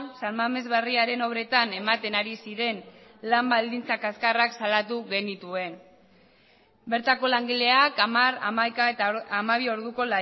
san mamés berriaren obretan ematen ari ziren lan baldintza kaxkarrak salatu genituen bertako langileak hamar hamaika eta hamabi orduko